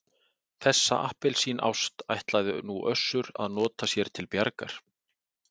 Þessa appelsínást ætlaði nú Össur að nota sér til bjargar.